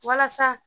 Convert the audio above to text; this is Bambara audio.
Walasa